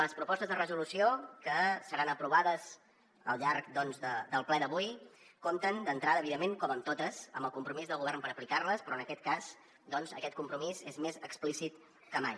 les propostes de resolució que seran aprovades al llarg doncs del ple d’avui compten d’entrada evidentment com totes amb el compromís del govern per aplicar les però en aquest cas aquest compromís és més explícit que mai